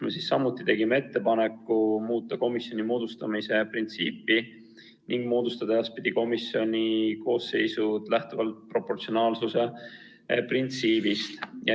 Me tegime selles samuti ettepaneku muuta komisjoni moodustamise printsiipi ning moodustada edaspidi komisjoni koosseisud lähtuvalt proportsionaalsuse printsiibist.